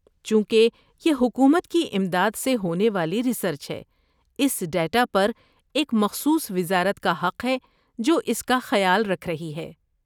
چونکہ یہ حکومت کی امداد سے ہونے والی ریسرچ ہے، اس ڈیٹا پر ایک مخصوص وزارت کا حق ہے جو اس کا خیال رکھ رہی ہے۔